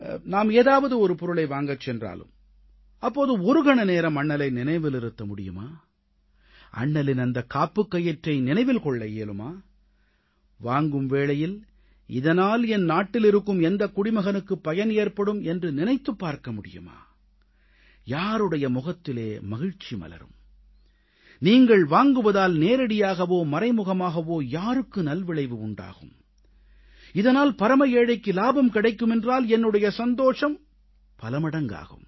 நாம் ஏதாவது ஒரு பொருளை வாங்கச் சென்றாலும் அப்போது ஒரு கண நேரம் அண்ணலை நினைவிலிருத்த முடியுமா அண்ணலின் அந்த காப்புக்கயிற்றை நினைவில் கொள்ள இயலுமா வாங்கும் வேளையில் இதனால் என் நாட்டில் இருக்கும் எந்தக் குடிமகனுக்கு பயன் ஏற்படும் என்று நினைத்துப் பார்க்க முடியுமா யாருடைய முகத்திலே மகிழ்ச்சி மலரும் நீங்கள் வாங்குவதால் நேரடியாகவோ மறைமுகமாகவோ யாருக்கு நல்விளைவு உண்டாகும் இதனால் பரம ஏழைக்கு இலாபம் கிடைக்குமென்றால் என்னுடைய சந்தோஷம் பலமடங்காகும்